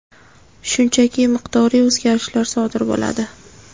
shunchaki miqdoriy o‘zgarish sodir bo‘ladi.